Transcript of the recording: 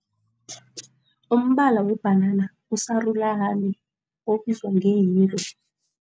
Umbala webhanana usarulani obizwa